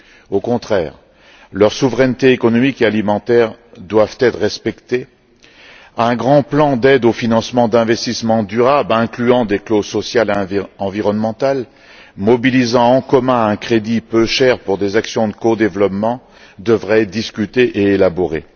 Au contraire, leurs souverainetés économique et alimentaire doivent être respectées, un grand plan d'aide au financement d'investissements durables incluant des clauses sociales et environnementales et mobilisant en commun un crédit peu cher pour des actions de codéveloppement, devrait être discuté et élaboré.